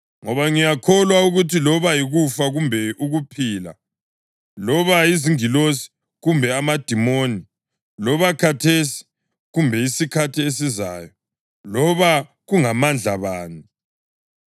Ngoba ngiyakholwa ukuthi loba yikufa kumbe ukuphila, loba yizingilosi kumbe amadimoni, loba khathesi kumbe isikhathi esizayo, loba kungamandla bani,